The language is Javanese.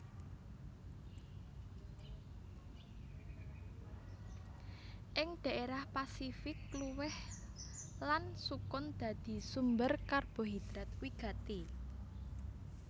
Ing dhaérah Pasifik kluwih lan sukun dadi sumber karbohidrat wigati